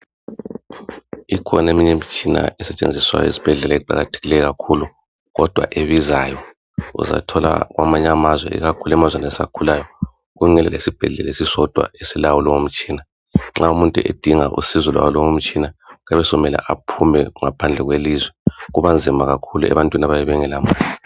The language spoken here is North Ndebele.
ikhona eminye imitshina esetshenziswa ezibhedlela eqakathekileyo kakhulu kodwa ebizayo uzathola kwamanyeamazwe ikakhulu emazweni asakhuluayo kungela isibhedlela esisodwa esilawo lowo mtshina nxa umuntu edinga usizo lwalowo mtshina kuyabe sekumele aphume ngaphandle kwelizwe kubanzima kakhulu ebantwini abayabe bengela mali